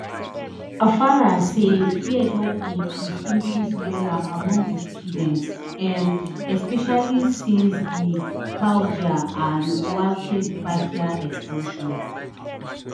farai say fear don increase increase wella among di students um especially since di pager and walkietalkie explosions